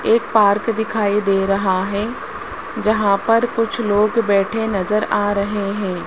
एक पार्क दिखाई दे रहा है जहां पर कुछ लोग बैठे नजर आ रहे हैं।